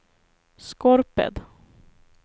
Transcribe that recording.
Skorped